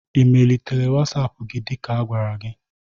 Ị melitere WasAp gị dị ka agwara gi?